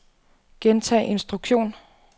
gentag instruktion